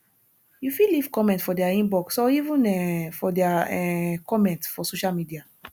you fit leave comment for their inbox or even um for their um comment for social media